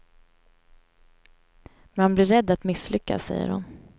Man blir rädd att misslyckas, säger hon.